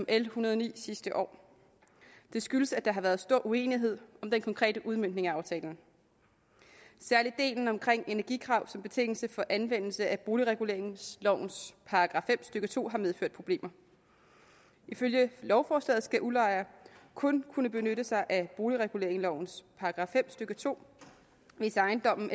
l en hundrede og ni sidste år det skyldes at der har været stor uenighed om den konkrete udmøntning af aftalen særlig delen om energikrav som betingelse for anvendelse af boligreguleringslovens § fem stykke to har medført problemer ifølge lovforslaget skal udlejer kun kunne benytte sig af boligreguleringslovens § fem stykke to hvis ejendommen